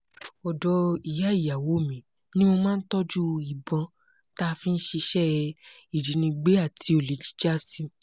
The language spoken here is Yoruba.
ọ̀dọ̀ ìyá ìyàwó mi ni mo máa ń tọ́jú ìbọn tá a fi ń ṣiṣẹ́ ìjínigbé àti olè jíjà sí